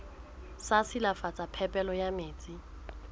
sa silafatsa phepelo ya metsi